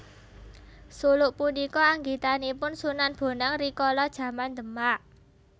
Suluk punika anggitanipun Sunan Bonang rikala jaman Demak